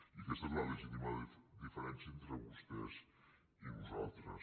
i aquesta és la legítima diferència entre vostès i nosaltres